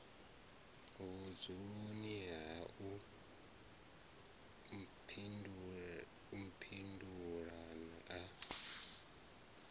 vhudzuloni ha u mphindula a